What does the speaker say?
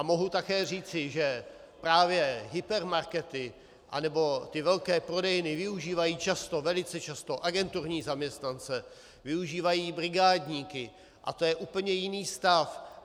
A mohu také říci, že právě hypermarkety anebo ty velké prodejny využívají často, velice často, agenturní zaměstnance, využívají brigádníky a to je úplně jiný stav.